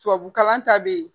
Tubabukalan ta bɛ yen